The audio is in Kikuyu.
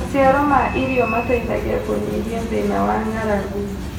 Maciaro ma irio mateithagia kũnyihia thĩna wa ng'aragu